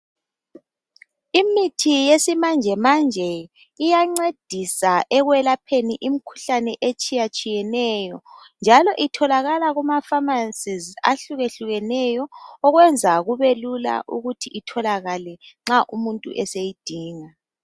Imithi yesimanjemanje iyancedisa ekwelapheni imikhuhlane etshiyatshiyeneyo njalo itholakala Kuma pharmacies ahlukehlukeneyo okwenza kube kula ukuthi itholakale nxa umuntu eseyidinga.